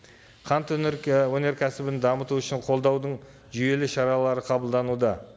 қант өнеркәсібін дамыту үшін қолдаудың жүйелі шаралары қабылдануда